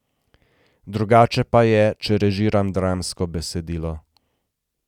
Drugače pa je, če režiram dramsko besedilo.